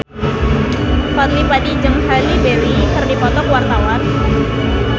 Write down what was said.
Fadly Padi jeung Halle Berry keur dipoto ku wartawan